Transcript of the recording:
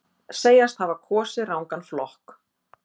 Segjast hafa kosið rangan flokk